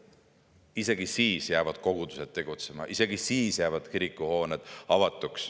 Isegi siis jäävad kogudused tegutsema, isegi siis jäävad kirikuhooned avatuks.